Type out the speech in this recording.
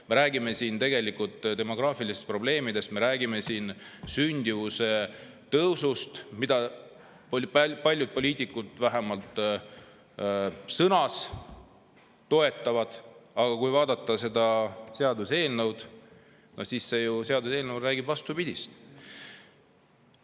Me räägime siin demograafilistest probleemidest, me räägime siin sündimuse tõusust, mida paljud poliitikud vähemalt sõnades toetavad, aga kui vaadata seda seaduseelnõu, siis see räägib vastupidist.